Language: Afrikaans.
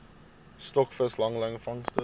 stokvis langlyn vangste